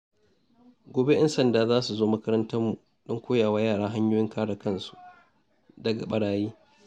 Gobe, ƴan sanda za su zo makarantar mu don koya wa yara hanyoyin kare kansu daga barayi.